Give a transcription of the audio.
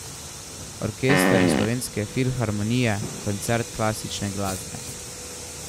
Orkester Slovenske filharmonije, Koncert klasične glasbe.